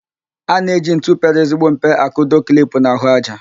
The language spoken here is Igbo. A na-eji ntu pere ezigbo mpe akụdo klip n'ahụájá.